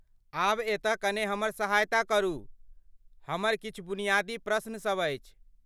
आब एतऽ कने हमर सहायता करू, हमर किछु बुनियादी प्रश्न सब अछि।